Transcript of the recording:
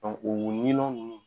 o ɲinnɔn nunnu.